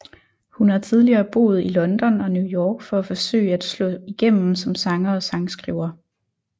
Hun har tidligere boet i London og New York for at forsøge at slå igennem som sanger og sangskriver